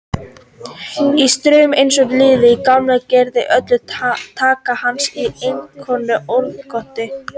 Í straumi eins og niðri í gjánni gerðist öll taka hans í einskonar óðagoti.